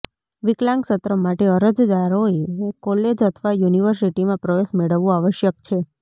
વિકલાંગ સત્ર માટે અરજદારોએ કોલેજ અથવા યુનિવર્સિટીમાં પ્રવેશ મેળવવો આવશ્યક છે